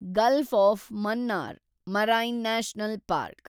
Gulf of Mannar marine national park